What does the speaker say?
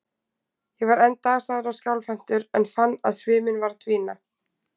Ég var enn dasaður og skjálfhentur, en fann að sviminn var að dvína.